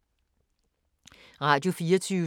Radio24syv